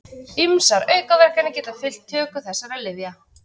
Ýmsar aukaverkanir geta fylgt töku þessara lyfja.